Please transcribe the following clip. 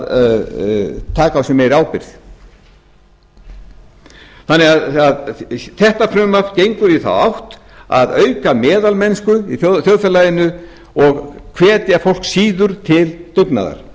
að taka á sig meiri ábyrgð þetta frumvarp gengur í þá átt að auka meðalmennsku í þjóðfélaginu og hvetja fólk síður til dugnaðar